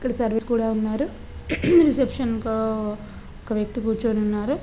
ఇక్కడ servants కూడా ఉన్నారు రిసెప్షన్ లో ఒక వ్యక్తి కూర్చొని ఉన్నారు.